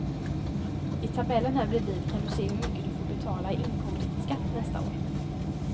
I tabellen här bredvid kan du se hur mycket du får betala i inkomstskatt nästa år.